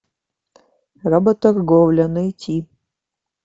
работорговля найти